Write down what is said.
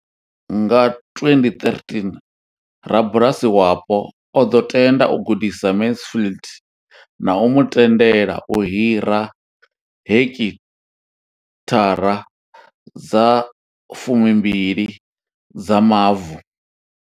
Nga 2013, rabulasi wapo o ḓo tenda u gudisa Mansfield na u mu tendela u hira heki thara dza 12 dza mavu.